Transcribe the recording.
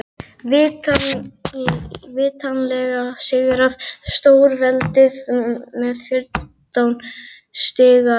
Vitanlega sigraði stórveldið með fjórtán stiga yfirburðum.